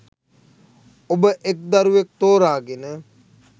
ඔබ එක් දරුවෙක් තෝරා ගෙන